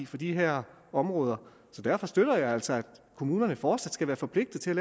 for de her områder så derfor støtter jeg altså at kommunerne fortsat skal være forpligtede til